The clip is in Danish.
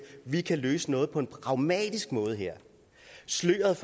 vi kan løse noget på en pragmatisk måde her sløret